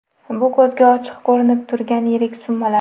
Bu ko‘zga ochiq ko‘rinib turgan yirik summalar.